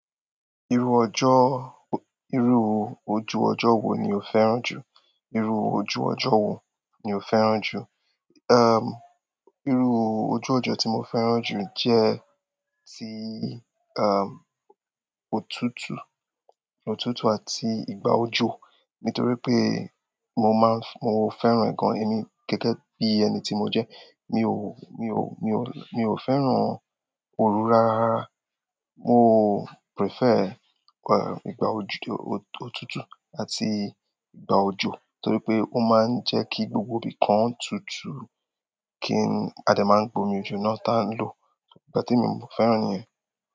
Iru ojú ọjọ wo ni o fẹ́ràn jù. Irú ojú ọjọ́ wo ni o fẹ́ràn jù? Irú ojú ọjọ́ tí mo fẹ́ràn jù jẹ́ ti, òtútù, òtútù àti ìgbà òjò nítorí pé mo máa ń, mo fẹ́ràn ǹkan yìí bi gẹ́gẹ́ bí ẹni tí mo jẹ́. Mi ò fẹ́ràn òrù rárá rara. Mo prefer, ìgbà òtútù àti ìgbà òjò torí pé ó máa ń jẹ́ kí gbogbo ibìkan tutù, a dé máa gbómi ojo náà táń lọ. Ìgbà temi, mo fẹ́ràn nìyẹn.